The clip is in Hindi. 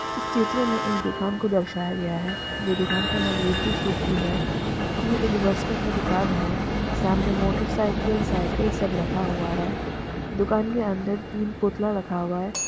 इस चित्र में एक दुकान को दर्शाया गया है जो दुकान का नाम रिधि सीधी है ये एक वस्त्र का दुकान है सामने मोटरसाइकिल साइकिल सब रखा हुआ है दुकान के अंदर तीन पुतला रखा हुआ है।